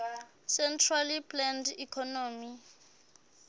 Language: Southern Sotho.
centrally planned economy